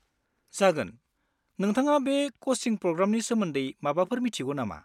जागोन, नोंथाङा बे कचिं प्रग्रामनि सोमोन्दै माबाफोर मिथिगौ नामा?